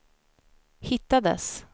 hittades